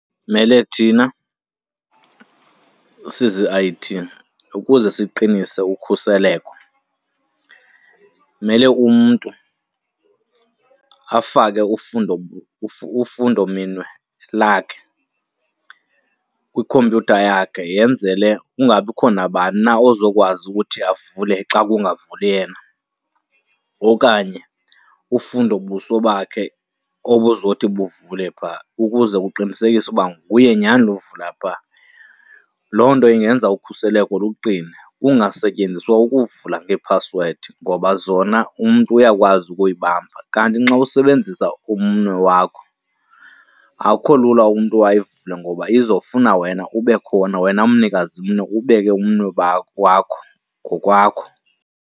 Mele thina sizi-I_T ukuze siqinise ukhuseleko mele umntu afake ufundo , ufundo minwe lakhe kwikhompyutha yakhe yenzele kungabikho nabani na ozokwazi ukuthi avule xa kungavuli yena, okanye ufundo buso bakhe obuzothi buvule pha ukuze kuqinisekiswe ukuba nguye nyhani lo uvula pha. Loo nto ingenza ukhuseleko luqine, kungasetyenziswa ukuvula ngeephasiwedi ngoba zona umntu uyakwazi ukuyibamba. Kanti nxa usebenzisa umnwe wakho akukho lula umntu ayivule ngoba izofuna wena ube khona, wena mnikazi mnwe ubeke umnwe wakho ngokwakho.